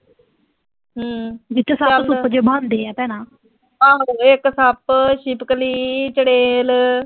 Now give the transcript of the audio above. ਆਹੋ ਇੱਕ ਸੱਪ, ਛਿਪਕਲੀ, ਚੁੜੈਲ